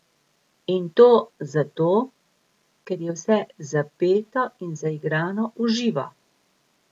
In to zato, ker je vse zapeto in zaigrano v živo.